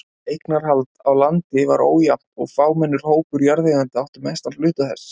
Eignarhald á landi var ójafnt og fámennur hópur jarðeigenda átti mestan hluta þess.